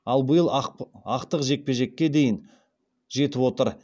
ал биыл ақтық жекпе жеке дейін жетіп отыр